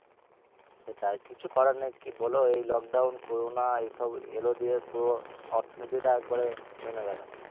তো তার কিছু করার নেই কি বলো এই lockdown, corona এসব এলো দিয়ে পুরো অর্থ নীতি টা একবারে নেমে গেলো